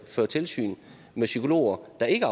føre tilsyn med psykologer der ikke